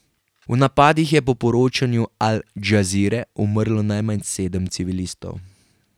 V napadih je po poročanju al Džazire umrlo najmanj sedem civilistov.